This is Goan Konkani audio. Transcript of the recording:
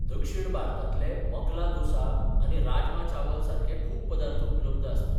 दक्षिण भारतांतले मकला दोसा आनी राजमा चावल सारकें खूब पदार्थ उपलब्ध आसतात.